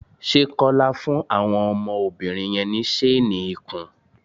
Ṣé Kọ́lá fún àwọn ọmọbìnri yẹn ní ṣéénì ikùn?